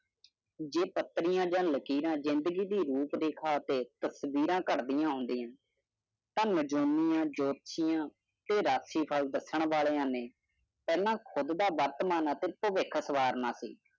ਜੀਈ ਪਤਲੀ ਜ਼ਿਆ ਲਕੀਰ ਜੀ ਜ਼ਿੰਦਗੀ ਦੀ ਰੂਪ ਦੀ ਖੱਟੀ ਤਸਵੀਰਾ ਗਾਰਡੀਆ ਹਾਂਡੀਆ ਤਨ ਸਟਾਰਡਮ ਰਾਖੀ ਬਾਲ ਦੇਰ ਨਾਲ ਆਉਣਾ ਅਤੇ ਨੀ ਹੰਨਾਹ ਖੁਦ ਸੀ